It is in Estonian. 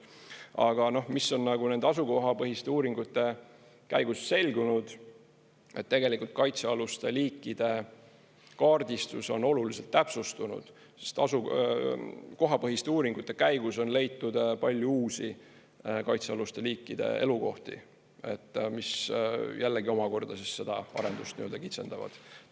Aga mis on nagu nende asukohapõhiste uuringute käigus selgunud, tegelikult kaitsealuste liikide kaardistus on oluliselt täpsustunud, sest kohapõhiste uuringute käigus on leitud palju uusi kaitsealuste liikide elukohti, mis jällegi omakorda siis seda arendust nii-öelda kitsendavad.